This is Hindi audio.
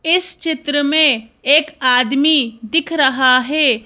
इस चित्र में एक आदमी दिख रहा है।